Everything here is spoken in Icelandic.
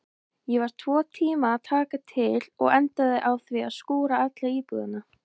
Ég var tvo tíma að taka til og endaði á því að skúra alla íbúðina.